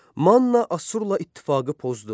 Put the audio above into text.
Manna Assurla ittifaqı pozdu.